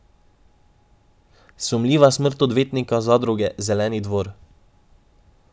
Sumljiva smrt odvetnika zadruge Zeleni dvor.